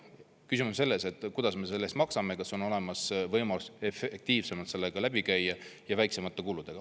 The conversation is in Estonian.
Küsimus on selles, kuidas me selle eest maksame, kas on olemas võimalus efektiivsemalt sellega läbi käia ja väiksemate kuludega.